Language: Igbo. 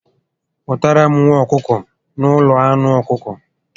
Nwụtara m nwa ọkụkọ na ụlọ anụ ọkụkọ